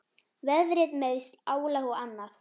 Veðrið, meiðsl, álag og annað.